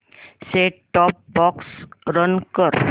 set top box run कर